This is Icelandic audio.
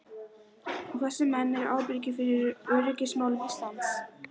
Og þessir menn eru ábyrgir fyrir öryggismálum Íslands!